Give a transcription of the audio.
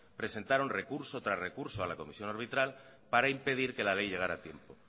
presentaron recurso tras recurso a la comisión arbitral para impedir que la ley llegara a tiempo